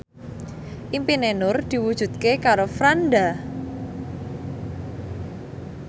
impine Nur diwujudke karo Franda